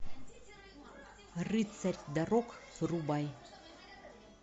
рыцарь дорог врубай